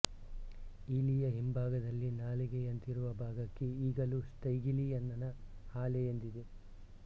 ಈಲಿಯ ಹಿಂಭಾಗದಲ್ಲಿ ನಾಲಗೆಯಂತಿರುವ ಭಾಗಕ್ಕೆ ಈಗಲೂ ಸ್ಟೈಗೀಲಿಯನ್ನನ ಹಾಲೆ ಎಂದಿದೆ